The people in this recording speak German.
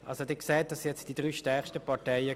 Das sind die drei stärksten Parteien.